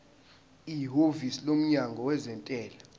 ihhovisi lomnyango wezentela